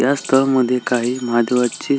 या स्थळ मध्ये काही महादेवाची--